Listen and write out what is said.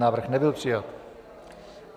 Návrh nebyl přijat.